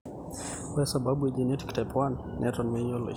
ore sababu e genetic type 1 netol meyioloi.